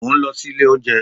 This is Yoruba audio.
Mò ń lọ sí ilé-oúnjẹ́